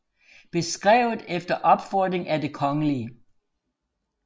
Beskrevet efter Opfordring af det Kgl